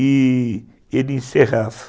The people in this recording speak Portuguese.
e ele encerrava.